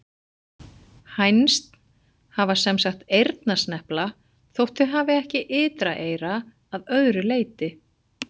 Hænsn hafa sem sagt eyrnasnepla þótt þau hafi ekki ytra eyra að öðru leyti.